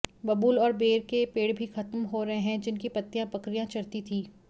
बबूल और बेर के पेड़ भी खत्म हो रहे हैं जिनकी पत्तियां बकरियां चरती थीं